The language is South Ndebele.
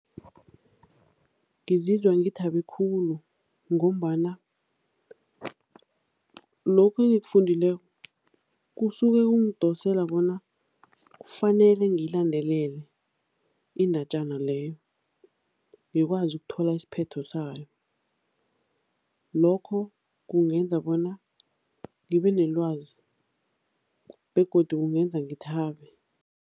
Ngizizwa ngithabe khulu ngombana lokhu engikufundileko kusuke kungidosela bona kufanele ngiyilandelele indatjana leyo, ngikwazi ukuthola isiphetho sayo. Lokho kungenza bona ngibe nelwazi begodu kungenza ngithabe.